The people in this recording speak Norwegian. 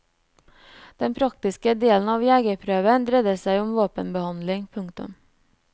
Den praktiske delen av jegerprøven dreier seg om våpenbehandling. punktum